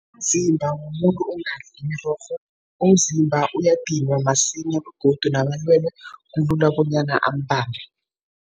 Umzimba womuntu ongadli imirorho, umzimba uyadinwa masinya begodu namalwele kulula bonyana ambambe.